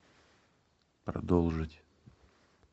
продолжить